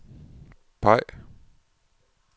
peg